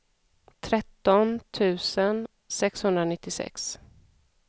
tretton tusen sexhundranittiosex